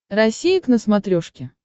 россия к на смотрешке